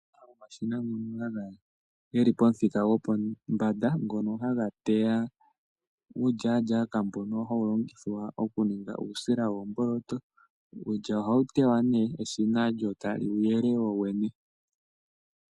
Okuna omashina ngoka geli pamuthika gopo panda, ngoka haga teya uulyalyaka mboka hawu longithwa oku ninga uusila woomboloto. Uulya ohawu tewa ne, lyo eshina tali wy yele lyo wene.